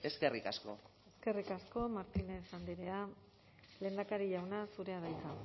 eskerrik asko eskerrik asko martínez andrea lehendakari jauna zurea da hitza